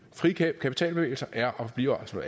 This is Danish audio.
frie kapitalbevægelser er og bliver altså